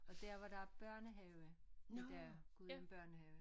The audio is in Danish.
Og dér hvor der er børnehave i dag Gudhjem børnehave